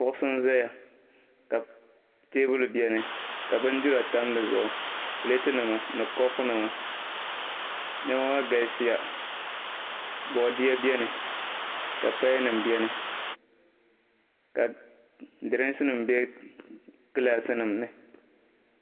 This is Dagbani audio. Kuɣisi n-zaya ka teebuli beni ka bindira tam di zuɣu pileetinima ni kopunima. Nɛma maa galisiya bɔdia beni ka payanima beni ka dirinkisi be gilaasinima ni.